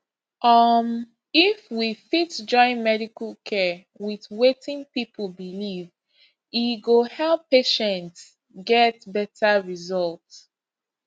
um if we fit join medical care with wetin people believe e go help patients get better result